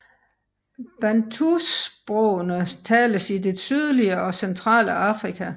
Bantusprogene tales i det sydlige og centrale Afrika